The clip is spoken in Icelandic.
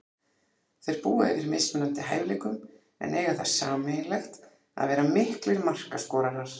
Þeir búa yfir mismunandi hæfileikum en eiga það sameiginlegt að vera miklir markaskorarar.